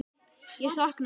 Ég sakna þess.